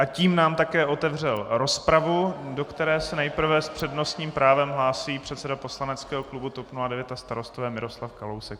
A tím nám také otevřel rozpravu, do které se nejprve s přednostním právem hlásí předseda poslaneckého klubu TOP 09 a Starostové Miroslav Kalousek.